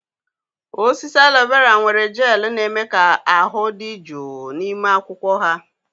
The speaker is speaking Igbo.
. Osisi aloe vera nwere gel na-eme ka ahụ dị jụụ n'ime akwụkwọ ha.